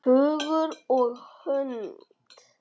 Hugur og hönd!